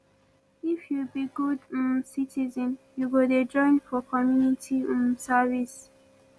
if you be good um citizen you go dey join for community um service